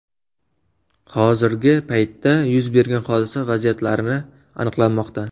Hozirgi paytda yuz bergan hodisa vaziyatlari aniqlanmoqda.